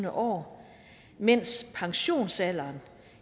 år mens pensionsalderen